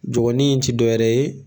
Jɔngɔnni in ti dɔwɛrɛ ye